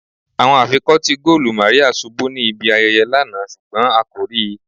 Awọn afikọti goolu Maria ṣubu ni ibi ayẹyẹ lana ṣugbọn a ko rii